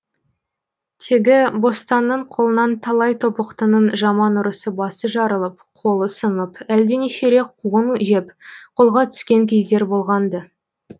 тегі бостанның қолынан талай тобықтының жаман ұрысы басы жарылып қолы сынып әлденеше рет қуғын жеп қолға түскен кездер болған ды